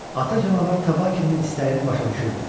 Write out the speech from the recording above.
Ata canavar Tabakinin istəyini başa düşürdü.